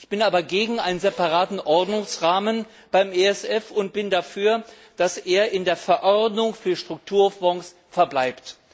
Ich bin aber gegen einen separaten Ordnungsrahmen beim ESF und bin dafür, dass er in der Verordnung für Strukturfonds verbleibt.